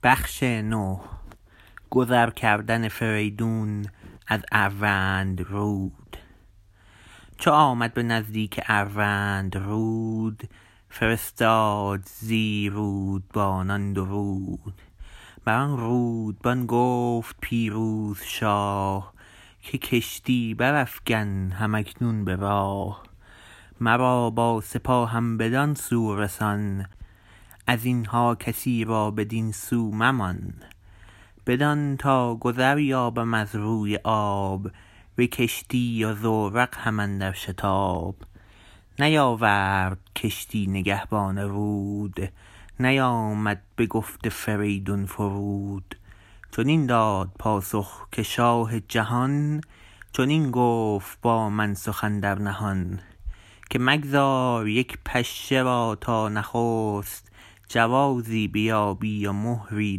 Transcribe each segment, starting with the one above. چو آمد به نزدیک اروندرود فرستاد زی رودبانان درود بران رودبان گفت پیروز شاه که کشتی برافگن هم اکنون به راه مرا با سپاهم بدان سو رسان از اینها کسی را بدین سو ممان بدان تا گذر یابم از روی آب به کشتی و زورق هم اندر شتاب نیاورد کشتی نگهبان رود نیامد بگفت فریدون فرود چنین داد پاسخ که شاه جهان چنین گفت با من سخن در نهان که مگذار یک پشه را تا نخست جوازی بیابی و مهری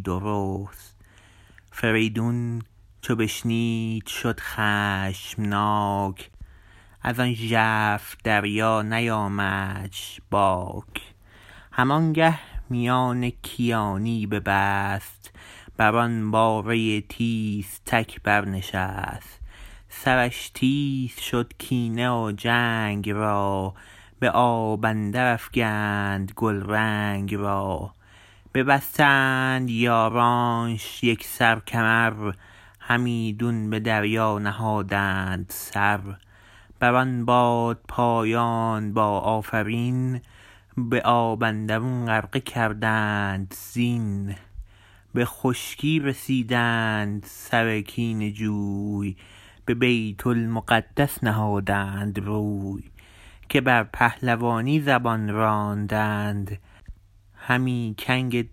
درست فریدون چو بشنید شد خشمناک ازان ژرف دریا نیامدش باک هم آنگه میان کیانی ببست بران باره تیزتک بر نشست سرش تیز شد کینه و جنگ را به آب اندر افگند گلرنگ را ببستند یارانش یکسر کمر همیدون به دریا نهادند سر بر آن بادپایان با آفرین به آب اندرون غرقه کردند زین به خشکی رسیدند سر کینه جوی به بیت المقدس نهادند روی که بر پهلوانی زبان راندند همی کنگ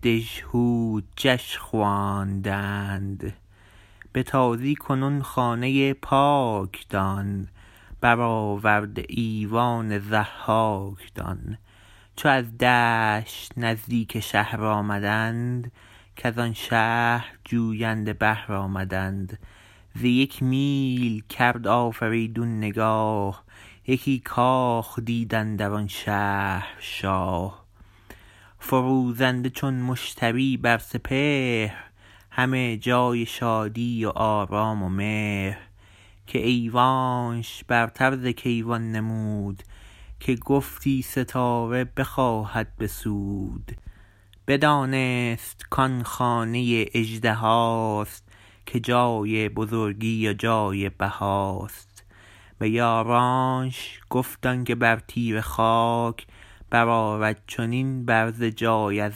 دژهودجش خواندند به تازی کنون خانه پاک دان برآورده ایوان ضحاک دان چو از دشت نزدیک شهر آمدند کزان شهر جوینده بهر آمدند ز یک میل کرد آفریدون نگاه یکی کاخ دید اندر آن شهر شاه فروزنده چون مشتری بر سپهر همه جای شادی و آرام و مهر که ایوانش برتر ز کیوان نمود که گفتی ستاره بخواهد بسود بدانست کان خانه اژدهاست که جای بزرگی و جای بهاست به یارانش گفت آنکه بر تیره خاک برآرد چنین برز جای از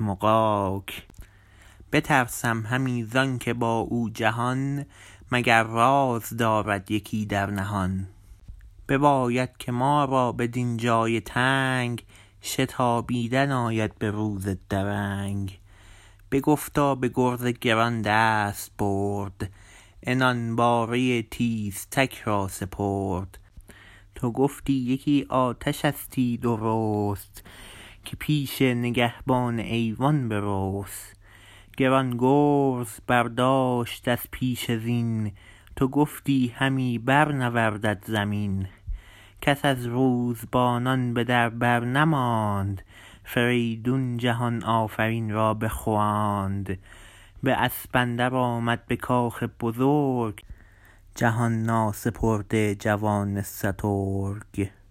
مغاک بترسم همی زانکه با او جهان مگر راز دارد یکی در نهان بباید که ما را بدین جای تنگ شتابیدن آید به روز درنگ بگفت و به گرز گران دست برد عنان باره تیزتک را سپرد تو گفتی یکی آتشستی درست که پیش نگهبان ایوان برست گران گرز برداشت از پیش زین تو گفتی همی بر نوردد زمین کس از روزبانان به در بر نماند فریدون جهان آفرین را بخواند به اسب اندر آمد به کاخ بزرگ جهان ناسپرده جوان سترگ